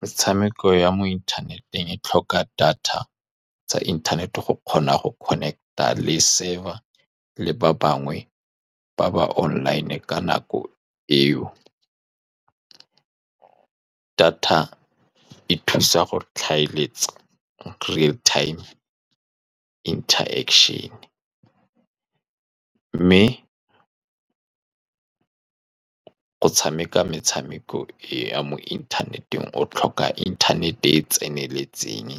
Metshameko ya mo inthaneteng e tlhoka data tsa inthanete go kgona go connect-a le server le ba bangwe ba ba online ka nako eo. Data e thusa go tlhaeletsa, great time interaction, mme go tshameka metshameko ya mo inthaneteng o tlhoka internet-e e e tseneletseng